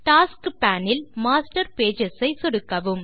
tasks pane இல் master pages ஐ சொடுக்கவும்